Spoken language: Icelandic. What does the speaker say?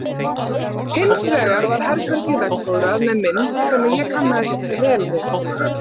Hins vegar var herbergið veggfóðrað með mynd sem ég kannaðist vel við.